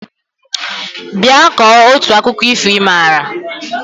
Bịa kọọ otu akụkọ ifo ị maara!